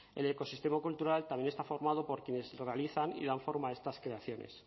el ecosistema cultural también está formado por quienes lo realizan y dan forma a estas creaciones